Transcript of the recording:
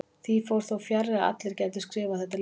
Því fór þó fjarri að allir gætu skrifað þetta letur.